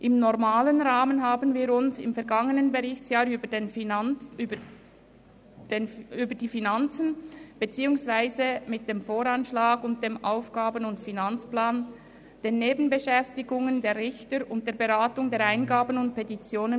Im normalen Rahmen befassten wir uns im vergangenen Berichtsjahr mit den Finanzen beziehungsweise dem Voranschlag und dem Aufgaben- und Finanzplan, den Nebenbeschäftigungen der Richter sowie der Beratung der Eingaben und Petitionen.